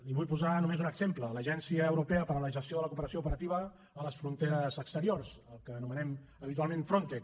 i vull posar només un exemple l’agència europea per a la gestió de la cooperació operativa a les fronteres exteriors el que anomenem habitualment frontex